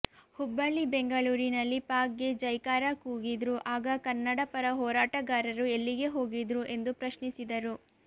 ಹುಬ್ಬಳ್ಳಿ ಬೆಂಗಳೂರಿನಲ್ಲಿ ಪಾಕ್ ಗೆ ಜೈಕಾರ ಕೂಗಿದ್ರು ಆಗ ಕನ್ನಡಪರ ಹೋರಾಟಗಾರರು ಎಲ್ಲಿಗೆ ಹೋಗಿದ್ರು ಎಂದು ಪ್ರಶ್ನಿಸಿದರು